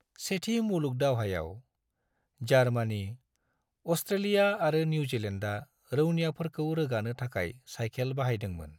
सेथि मुलुग दावहायाव, जार्मानी, अस्ट्रेलिया आरो निउजिलेन्दआ रौनियाफोरखौ रोगानो थाखाय साइखेल बाहायदोंमोन।